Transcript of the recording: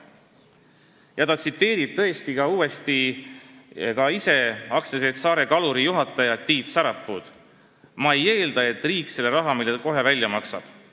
Ja temagi tsiteerib AS-i Saare Kalur juhti Tiit Sarapuud: "Ma ei eelda, et riik selle raha meile kohe välja maksab.